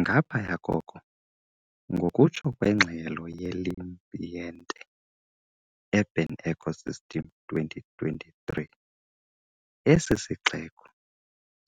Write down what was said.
Ngaphaya koko, ngokutsho kwengxelo yeLeambiente "Urban Ecosystem 2023", esi sixeko